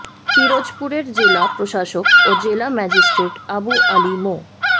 পিরোজপুরের জেলা প্রশাসক ও জেলা ম্যাজিষ্ট্রেট আবু আলী মো